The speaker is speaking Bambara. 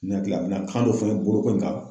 Ne hakila a be na kan dɔ fɔ n ye, bolo ko in kan.